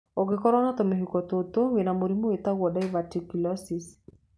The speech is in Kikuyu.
Ũngĩkorwo na tũmĩhuko tũtũ, wĩna mũrimũ wĩtagwo diverticulosis.